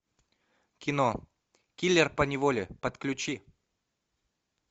кино киллер поневоле подключи